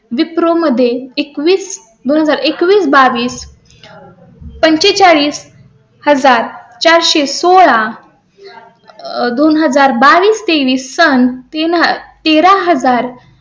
wipro मध्ये एकवीस एकवीस बावीस पंचेचाळीस हजार चार सो सोळा आह दोन हजार बावीस तेवीस सन तीन तेरा. हजार